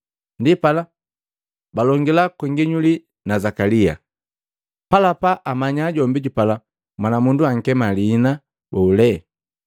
Ndipala balongila kwa nginyuli na Zakalia, bapala amanya jombi jupala mwanamundu ankema lihina bole.